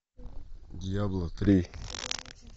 дьябло три